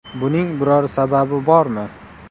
Buning biror sababi bormi?